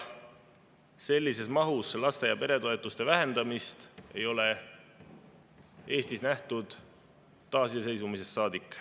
Sellises mahus laste- ja peretoetuste vähendamist ei ole Eestis nähtud taasiseseisvumisest saadik.